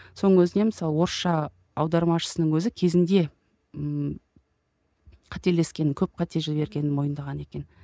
соның өзінде мысалы орысша аудармашысының өзі кезінде ммм қателескенін көп қате жібергенін мойындаған екен